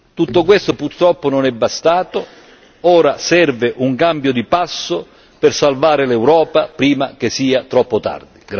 Tutto questo purtroppo non è bastato, ora serve un cambio di passo per salvare l'Europa prima che sia troppo tardi.